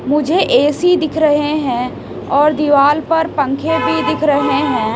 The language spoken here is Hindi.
मुझे ए_सी दिख रहे हैं और दीवाल पर पंखे भी दिख रहे हैं।